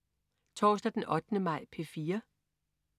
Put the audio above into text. Torsdag den 8. maj - P4: